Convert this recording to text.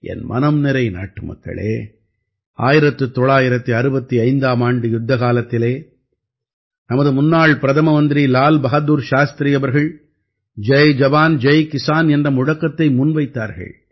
என் மனம்நிறை நாட்டுமக்களே 1965ஆம் ஆண்டு யுத்தக்காலத்திலே நமது முன்னாள் பிரதம மந்திரி லால் பஹாதுர் சாஸ்திரி அவர்கள் ஜய் ஜவான் ஜய் கிஸான் என்ற முழக்கத்தை முன்வைத்தார்கள்